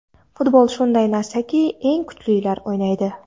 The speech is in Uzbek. Futbol shunday narsaki eng kuchlilar o‘ynaydi.